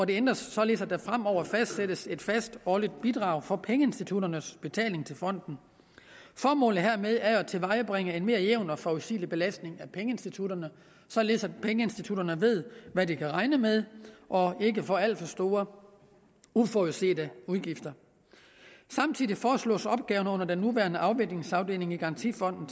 således at der fremover fastsættes et fast årligt bidrag for pengeinstitutternes betaling til fonden formålet hermed er jo at tilvejebringe en mere jævn og forudsigelig belastning af pengeinstitutterne således at pengeinstitutterne ved hvad de kan regne med og ikke får alt for store uforudsete udgifter samtidig foreslås opgaven under den nuværende afviklingsafdeling i garantifonden